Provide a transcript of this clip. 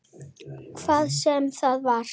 Hvað sem það var.